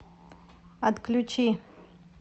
отключи